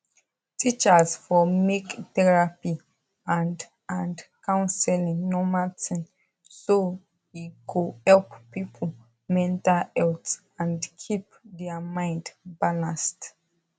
teachers for make therapy and and counseling normal thing so e go help people mental health and keep their mind balanced